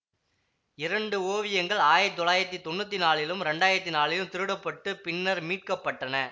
இரண்டு ஓவியங்கள் ஆயிரத்தி தொள்ளாயிரத்தி தொன்னூத்தி நாலிலும் இரண்டாயிரத்தி நாலிலும் திருடப்பட்டு பின்னர் மீட்க பட்டன